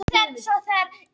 Hafa beðið eftir eldgosi